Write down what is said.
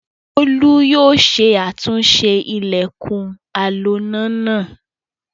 Bólú yóò ṣe àtúnṣe ilẹ̀kùn aloná náà.